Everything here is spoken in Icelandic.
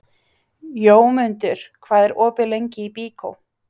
Jómundur, hvað er opið lengi í Byko?